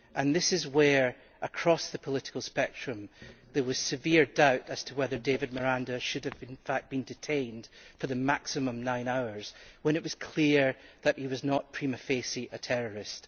This is why, across the political spectrum, there was severe doubt as to whether David Miranda should have in fact been detained for the maximum nine hours when it was clear that he was not prima facie a terrorist.